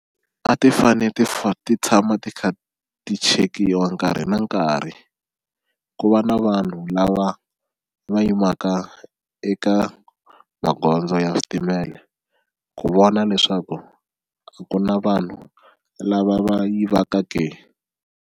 A ti fane ti ti tshama ti kha ti chekiwa nkarhi na nkarhi ku va na vanhu lava va yimaka eka magondzo ya switimele ku vona leswaku a ku na vanhu lava va yivaka ke.